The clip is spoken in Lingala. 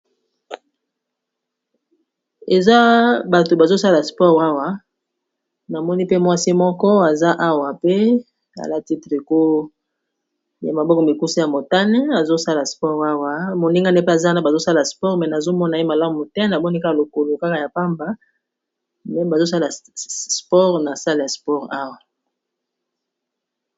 Eza bato bazosala spor awa namoni pe mwasi moko aza awa pe alati triko ya maboko mikusi ya motane, azosala spore awa moninga ne pe aza na bazosala sport me nazomona ye malamu te namonika lokolo kaka ya pamba me bazosala spore na sale ya spor awa.